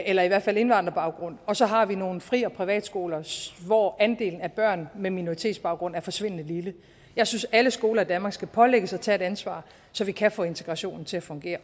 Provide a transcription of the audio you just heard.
eller i hvert fald indvandrerbaggrund og så har vi nogle fri og privatskoler hvor andelen af børn med minoritetsbaggrund er forsvindende lille jeg synes at alle skoler i danmark skal pålægges at tage et ansvar så vi kan få integrationen til at fungere